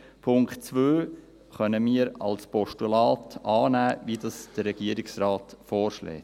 Den Punkt 2 können wir als Postulat annehmen, so wie es der Regierungsrat vorschlägt.